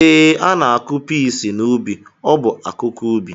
Ee, ana-akụ pesi n’ubi, ọ bụ akụkụ ubi